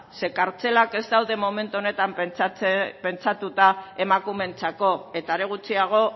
zeren eta kartzelak ez daude momentu honetan pentsatuta emakumeentzako eta are gutxiago